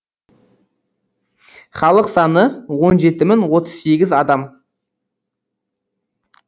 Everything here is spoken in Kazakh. халық саны он жеті мың отыз сегіз адам